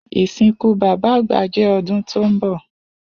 Isinku baba agba jẹ ọdun ti nbọ.